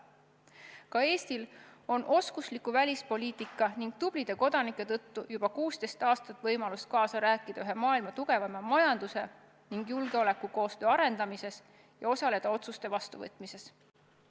Ka Eestil on oskusliku välispoliitika ning tublide kodanike tõttu juba 16 aastat võimalus kaasa rääkida ühe maailma tugevaima majanduse ning julgeolekukoostöö arendamises ja osaleda otsuste vastuvõtmises.